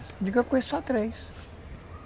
Eu digo que eu conheço só três.